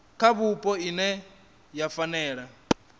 kha vhupo ine ya fanela